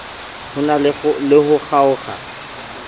ho na le ho kgaokg